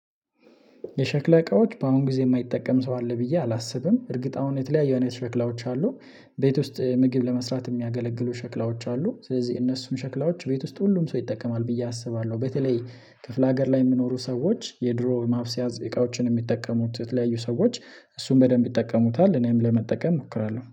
የሸክላ እቃዎች በአሁን ጊዜ የማይጠቀም ሰው አለ ብዬ አላስብም እርግጥአሁን የተለያየ አይነት ሸክላዎች አሉ። ቤት ውስጥ ምግብ ለመስራት የሚያገለግሉ ሸክላዎች አሉ ስለዚህ እነሱን ሸክላዎች ቤት ውስጥ ሁሉም ሰው ይጠቀማል ብዬ አስባለሁ። በተለይ ክፍለ ሀገር ላይ የሚኖሩ ሰዎች የድሮ ማብሰያ እቃዎችን የሚጠቀሙት የተለያዩ ሰዎች እሱን በደንብ ይጠቀሙታል። እኔም ለመጠቀም እሞክራለሁ